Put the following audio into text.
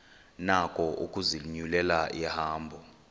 nako ukuzinyulela ihambo